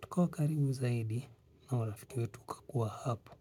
tukawa karibu zaidi na urafiki wetu ukakua hapo.